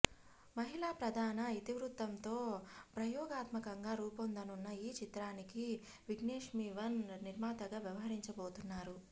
మహిళా ప్రధాన ఇతివృత్తంతో ప్రయోగాత్మకంగా రూపొందనున్న ఈ చిత్రానికి విఘ్నేష్శివన్ నిర్మాతగా వ్యవహరించబోతున్నారు